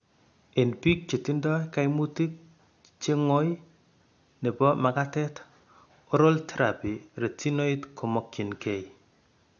En biik chetindo kaimutik che ngoy nebo makatet, oral therapy retinoid komokyin keey.